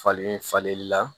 Falen falenli la